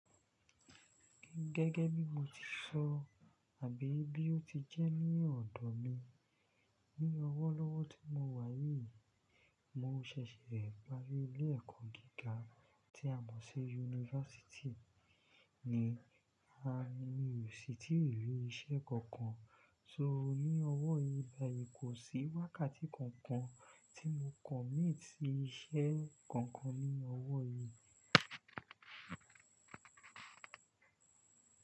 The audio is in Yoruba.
Gẹ́gẹ́ bí mo ti sọ àbí bí ó ti jẹ́ ní ọ̀dọ̀ mi, ní ọwọ́ lọ́wọ́ tí mo wà yìí, mo ṣẹ̀ṣẹ̀ parí ilé ẹ̀kọ́ gíga tí a mọ̀ sí Yunifásítì ni, a ni ò sí tìrí iṣẹ́ kankan, só ni ọwọ́ yìí báyìí kò sí wákàtí kankan tí mo commit sí iṣẹ́ kankan ní ọwọ́ yìí.